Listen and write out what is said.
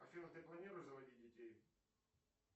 афина ты планируешь заводить детей